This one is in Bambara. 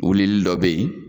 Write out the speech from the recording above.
Wulili dɔ be yen